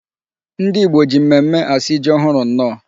Ndị Igbo ji mmemmé asị ji ohụrụ nnọọ.